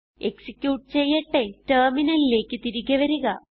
execute ചെയ്യട്ടെ ടെർമിനലിലേക്ക് തിരികെ വരിക